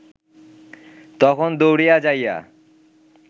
তখন দৌড়িয়া যাইয়া